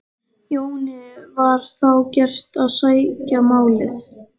Jóni var þá gert að sækja málið.